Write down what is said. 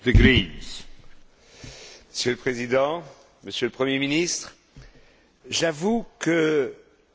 Monsieur le Président, Monsieur le premier ministre, j'avoue que, parfois je ne comprends pas très bien.